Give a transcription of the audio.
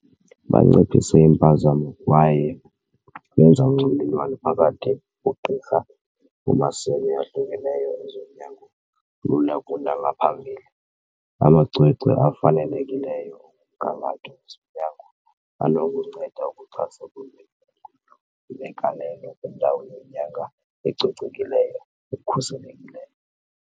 Banciphisa iimpazamo kwaye benza unxibelelwano phakathi koogqirha kumasebe ahlukeneyo ezonyango lula kunangaphambili. Amacwecwe afanelekileyo omgangatho wezonyango anokunceda ukuxhasa kunye negalelo kwindawo yonyango ecocekileyo, ekhuselekileyo.